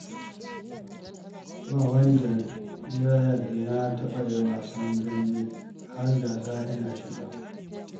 Ba wanda zai yarda na taɓa yin wasan dambe, har gasa ina shiga